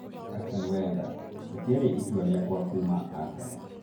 Arsene Wenger; rĩtiarĩ itua rĩakwa kuuma arsenal